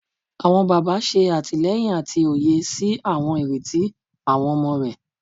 Awọn baba, ṣe atilẹyin ati oye si awọn ireti awọn ọmọ rẹ